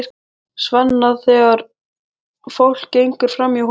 Svenna þegar fólk gengur framhjá honum.